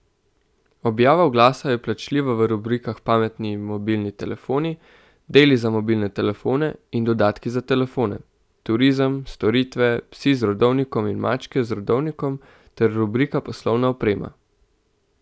Objava oglasa je plačljiva v rubrikah Pametni mobilni telefoni, Deli za mobilne telefone in Dodatki za telefone, Turizem, Storitve, Psi z rodovnikom in Mačke z rodovnikom ter rubrika Poslovna oprema.